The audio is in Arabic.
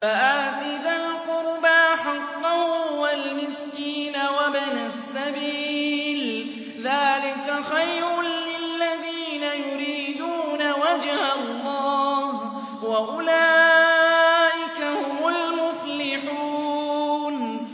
فَآتِ ذَا الْقُرْبَىٰ حَقَّهُ وَالْمِسْكِينَ وَابْنَ السَّبِيلِ ۚ ذَٰلِكَ خَيْرٌ لِّلَّذِينَ يُرِيدُونَ وَجْهَ اللَّهِ ۖ وَأُولَٰئِكَ هُمُ الْمُفْلِحُونَ